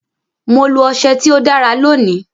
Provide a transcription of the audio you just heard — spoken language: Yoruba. Mo lo ọsẹ tí ó dára lónìí.